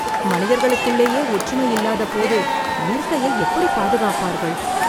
மனிதர்களுக்குள்ளேயே ஒற்றுமை இல்லாதபோது, இயற்கையை எப்படி பாதுகாப்பார்கள்...